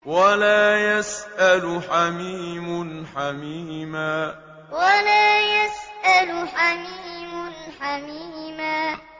وَلَا يَسْأَلُ حَمِيمٌ حَمِيمًا وَلَا يَسْأَلُ حَمِيمٌ حَمِيمًا